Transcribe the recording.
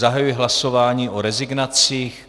Zahajuji hlasování o rezignacích.